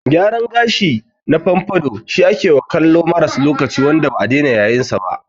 Gyaran gashi na gashi na pompadour shi akewa kallon maras lokaci wanda ba'a dena yayinsa.